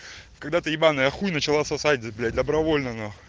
когда ты ебаная хуй начала сосать блять добровольно нахуй